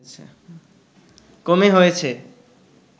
কমে হয়েছে